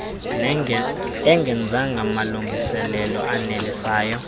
engenzanga malungiselelo anelisayo